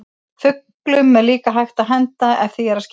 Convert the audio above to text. Fuglum er líka hægt að henda ef því er að skipta.